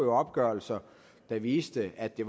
opgørelser der viser at det